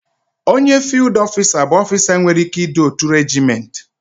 Onye fiild ọfisa bụ ọfisa nwere ikikere idu otu reejiment.